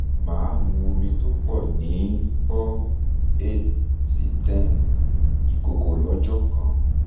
màá mu omi tó pọ̀ ní bọ́ cs] eight si ten ìkòkò lọ́jọ́ kan